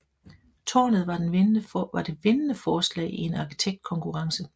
Tårnet var det vindende forslag i en arkitektkonkurrence